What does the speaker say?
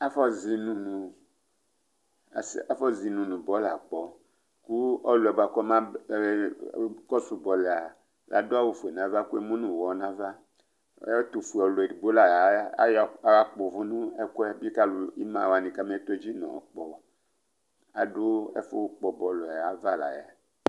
Afɔzɩnʋ nʋ bɔlʋ akpɔ, kʋ ɔlʋ yɛ bʋakʋ ɔma kɔsʋ bɔlʋ yɛ adu awufue nʋ ava, kʋ emu nʋ ʋwɔ nʋ ava Ɛtʋfuealu edigbo la ya tɔtʋ uvu nʋ ɛkʋɛ bɩkʋ ima wani kama todzi nʋ ɔkpɔ Adu ɛfʋkpɔ bɔlʋ ayʋ ava la yɛ